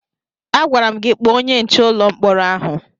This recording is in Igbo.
Agwara m gị kpọọ onye nche ụlọ mkpọrọ ahụ!